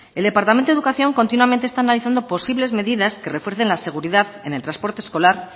el departamento de educación continuamente está analizando posibles medidas que refuercen la seguridad en el transporte escolar